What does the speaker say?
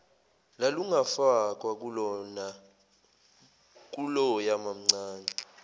lalungafakwa kuloya mamncane